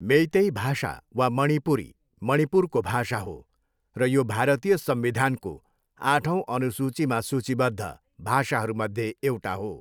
मेइतेई भाषा वा मणिपुरी, मणिपुरको भाषा हो र यो भारतीय संविधानको आठौं अनुसूचीमा सूचीबद्ध भाषाहरूमध्ये एउटा हो।